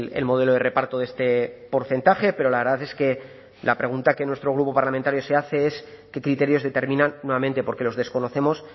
el modelo de reparto de este porcentaje pero la verdad es que la pregunta que nuestro grupo parlamentario se hace es qué criterios determinan nuevamente porque los desconocemos